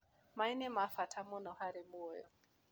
Maĩ nĩ ma bata mũno harĩ muoyo.